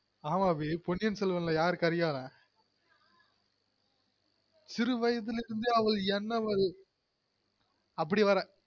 ஆமா அபி பொன்னியின்செல்வன் ல யாரு கரிகாலன் சிறு வயதிலுருந்தே அவள் என்னவள்